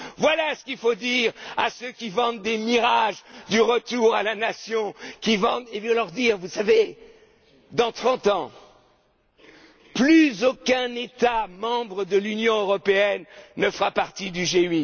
Voilà ce qu'il faut dire à ceux qui vendent des mirages, du retour à la nation. Il faut leur dire Vous savez, dans trente ans, plus aucun État membre de l'Union européenne ne fera partie